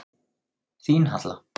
Þín Halla.